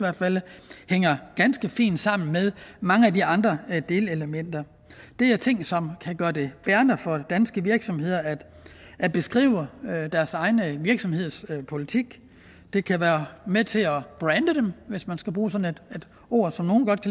hænger ganske fint sammen med mange af de andre delelementer det er ting som kan gøre det bærende for danske virksomheder at at beskrive deres egen virksomheds politik det kan være med til at brande dem hvis man skal bruge sådan et ord som nogle godt